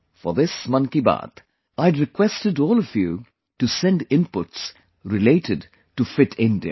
For this 'Mann Ki Baat', I had requested all of you to send inputs related to Fit India